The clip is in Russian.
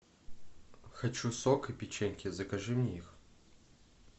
хочу сок и печеньки закажи мне их